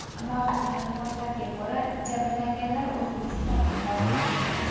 Mavjud ma’lumotlarga ko‘ra, jabrlanganlar O‘zbekiston fuqarolaridir.